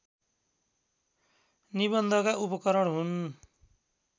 निबन्धका उपकरण हुन्